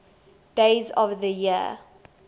days of the year